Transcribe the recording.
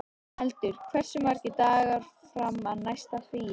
Eldur, hversu margir dagar fram að næsta fríi?